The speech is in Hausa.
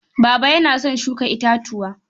Baba yana son shuka itatuwa.